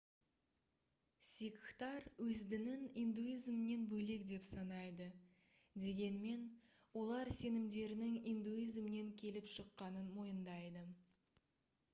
сикхтар өз дінін индуизмнен бөлек деп санайды дегенмен олар сенімдерінің индуизмнен келіп шыққанын мойындайды